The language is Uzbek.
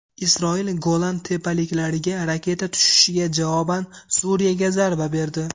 Isroil Golan tepaliklariga raketa tushishiga javoban Suriyaga zarba berdi.